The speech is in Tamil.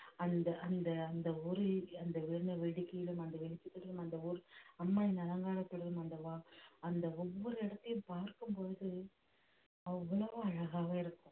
அந்த அந்த அந்த ஒரு அந்த வான வெடிக்கையிலும் அந்த வெளிச்சத்திலும் அந்த ஊர் அம்மனின் அலங்காரத்திலும் அல்லவா அந்த ஒவ்வொரு இடத்தையும் பார்க்கும் பொழுது அவ்வளவு அழகாக இருக்கும்